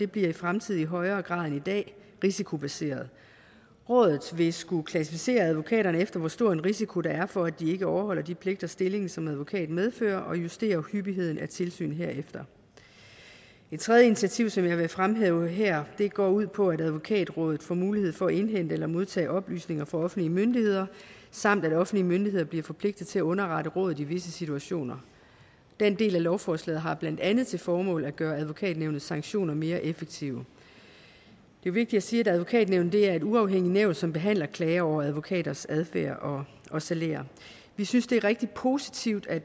bliver i fremtiden i højere grad end i dag risikobaseret rådet vil skulle klassificere advokaterne efter hvor stor en risiko der er for at de ikke overholder de pligter stillingen som advokat medfører og justere hyppigheden af tilsyn herefter et tredje initiativ som jeg vil fremhæve her går ud på at advokatrådet får mulighed for at indhente eller modtage oplysninger fra offentlige myndigheder samt at offentlige myndigheder bliver forpligtet til at underrette rådet i visse situationer den del af lovforslaget har blandt andet til formål at gøre advokatnævnets sanktioner mere effektive det er vigtigt at sige at advokatnævnet er et uafhængigt nævn som behandler klager over advokaters adfærd og og salærer vi synes det er rigtig positivt at